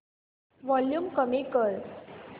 volume कमी कर